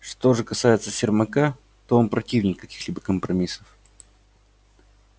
что же касается сермака то он противник каких-либо компромиссов